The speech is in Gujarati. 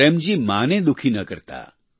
પ્રેમ જી માતાને દુખી ન કરતાં